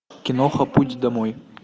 киноха путь домой